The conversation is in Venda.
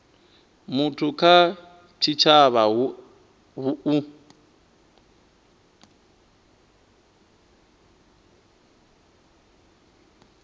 muthu kha tshitshavha hu u